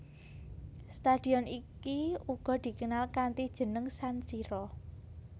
Stadion iki uga dikenal kanthi jeneng San Siro